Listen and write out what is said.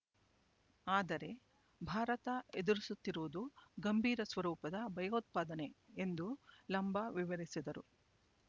ಆದರೆ ಭಾರತ ಎದುರಿಸುತ್ತಿರುವುದು ಗಂಭೀರ ಸ್ವರೂಪದ ಭಯೋತ್ಪಾದನೆ ಎಂದೂ ಲಂಬಾ ವಿವರಿಸಿದರು